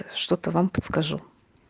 что-то вам подскажу